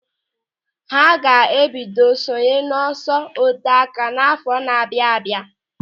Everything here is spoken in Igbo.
Ha ga-ebido ị sonye n'ọsọ oteáká n'àfọ́ na-abịa abịa.